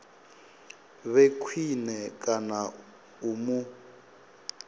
vhe khwine kana u mu